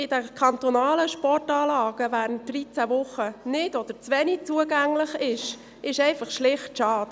Dass die kantonalen Sportanlagen während dreizehn Wochen nicht oder zu wenig zugänglich sind, ist schlicht schade.